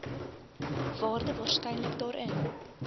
waarde waarskynlik daarin